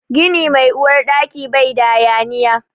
Gini mai Uwar Ɗaki bai da hayaniya.